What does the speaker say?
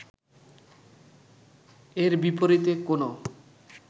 এর বিপরীতে কোনো